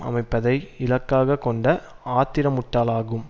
அமைப்பதை இலக்காக கொண்ட ஆத்திரமுட்டாலாகும்